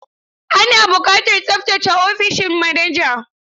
Ana buƙatar tsaftace ofishin manajan.